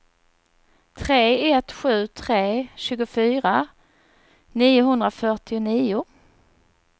tre ett sju tre tjugofyra niohundrafyrtionio